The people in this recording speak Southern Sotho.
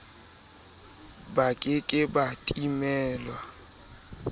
ba ke ke ba timelwa